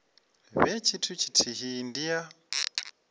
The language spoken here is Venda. vhe tshithu tshithihi ndi ya